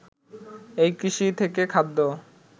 এই কৃষি থেকে খাদ্য